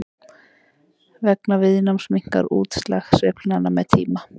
vegna viðnáms minnkar útslag sveiflnanna með tíma